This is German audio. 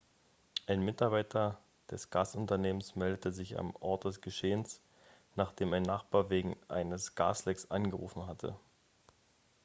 ein mitarbeiter des gasunternehmns meldete sich am ort des geschehens nachdem ein nachbar wegen eines gaslecks angerufen hatte.x